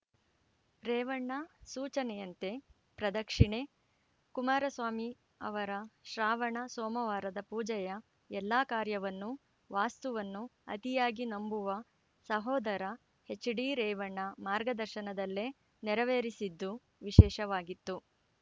ರೇವಣ್ಣ ಸೂಚನೆಯಂತೆ ಪ್ರದಕ್ಷಿಣೆ ಕುಮಾರಸ್ವಾಮಿ ಅವರ ಶ್ರಾವಣ ಸೋಮವಾರದ ಪೂಜೆಯ ಎಲ್ಲಾ ಕಾರ್ಯವನ್ನೂ ವಾಸ್ತುವನ್ನು ಅತಿಯಾಗಿ ನಂಬುವ ಸಹೋದರ ಎಚ್‌ಡಿರೇವಣ್ಣ ಮಾರ್ಗದರ್ಶನದಲ್ಲೇ ನೆರವೇರಿಸಿದ್ದು ವಿಶೇಷವಾಗಿತ್ತು